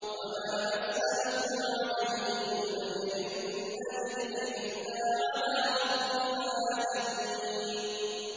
وَمَا أَسْأَلُكُمْ عَلَيْهِ مِنْ أَجْرٍ ۖ إِنْ أَجْرِيَ إِلَّا عَلَىٰ رَبِّ الْعَالَمِينَ